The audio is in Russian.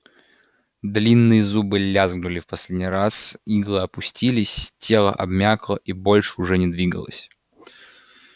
длинные зубы лязгнули в последний раз иглы опустились тело обмякло и больше уже не двигалось